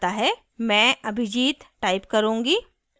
मैं abhijit type करुँगी